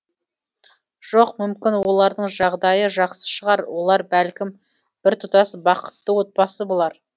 жоқ мүмкін олардың жағдайы жақсы шығар олар бәлкім біртұтас бақытты отбасы болар